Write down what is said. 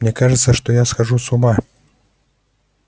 мне кажется что я схожу с ума